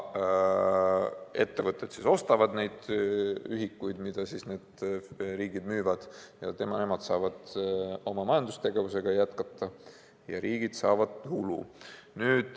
Ettevõtted ostavad neid ühikuid, mida riigid müüvad, ja saavad oma majandustegevust jätkata ning riigid saavad tulu.